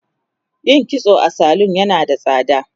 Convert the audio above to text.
yin kitso a salun yana da tsada